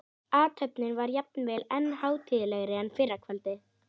Athöfnin var jafnvel enn hátíðlegri en fyrra kvöldið.